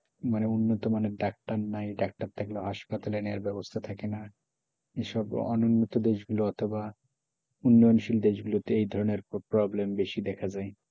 মানে উন্নত মানের ডাক্তার নাই ডাক্তার থাকলেও হাসপাতালে নেওয়ার ব্যবস্থা থাকে না এই সব অনুন্নত দেশগুলি অথবা উন্নয়ন দেশ গুলিতে এই ধরণের problem বেশি দেখা যায়,